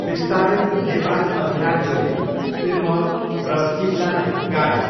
बिस्तारै नेपाल अधिराज्यले सिरमौर र सिमलालाई गाभ्यो।